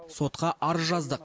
сотқа арыз жаздық